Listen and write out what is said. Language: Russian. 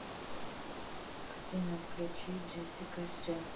афина включи джессика ше